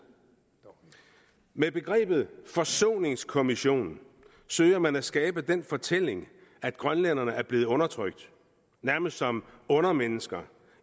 med begrebet forsoningskommission søger man at skabe den fortælling at grønlænderne er blevet undertrykt nærmest som undermennesker